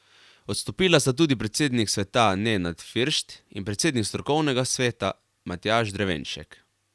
Odstopila sta tudi predsednik sveta Nenad Firšt in predsednik strokovnega sveta Matjaž Drevenšek.